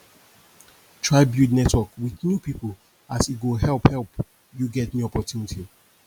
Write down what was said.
try build network wit new pipo as e go help help yu get new opportunity